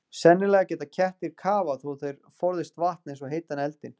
Sennilega geta kettir kafað þó þeir forðist vatn eins og heitan eldinn.